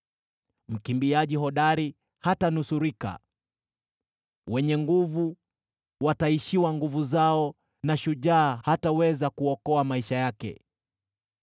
Mkimbiaji hodari hatanusurika, wenye nguvu wataishiwa nguvu zao, na shujaa hataweza kuokoa maisha yake.